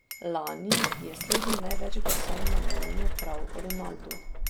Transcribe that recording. Lani je slednji največ glasov namenil prav Ronaldu.